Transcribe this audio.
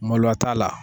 Maloya t'a la